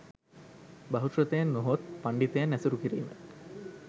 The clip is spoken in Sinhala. බහුශ්‍රැතයන් නොහොත් පණ්ඩිතයන් ඇසුරු කිරීම